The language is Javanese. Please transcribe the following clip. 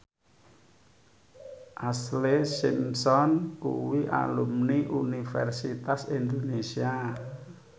Ashlee Simpson kuwi alumni Universitas Indonesia